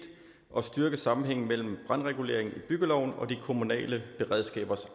og styrke sammenhængen mellem brandreguleringen i byggeloven og de kommunale beredskabers